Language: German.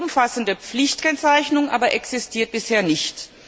Eine umfassende Pflichtkennzeichnung aber existiert bisher nicht.